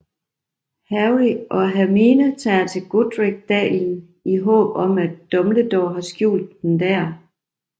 Harry og Hermione tager til Godric Dalen i håb om at Dumbledore har skjult den der